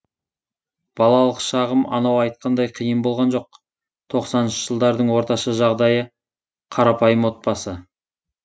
балалық шағым анау айтқандай қиын болған жоқ тоқсаныншы жылдардың орташа жағдайы қарапайым отбасы